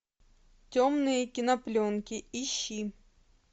темные кинопленки ищи